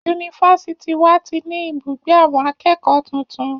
Yunifásitì wa ti ní ibùgbé àwọn akẹ́kọ̀ọ́ tuntun.